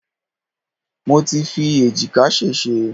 Mo ti fi èjìká sèsé